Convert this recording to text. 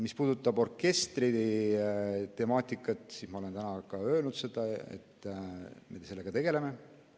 Mis puudutab orkestri temaatikat, siis ma olen täna ka öelnud, et me tegeleme sellega.